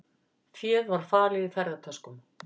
Féð var falið í ferðatöskum